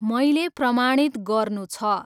मैले प्रमाणित गर्नु छ।